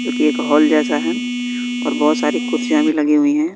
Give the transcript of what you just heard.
जोकि एक हॉल जैसा है और बहुत सारी कुर्सियां भी लगी हुई हैं।